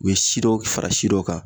U ye si dɔ fara si dɔ kan.